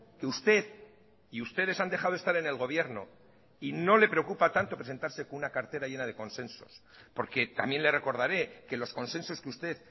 que usted y ustedes han dejado estar en el gobierno y no le preocupa tanto presentarse con una cartera llena de consensos porque también le recordaré que los consensos que usted